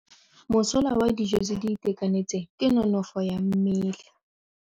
Mosola wa dijô tse di itekanetseng ke nonôfô ya mmele.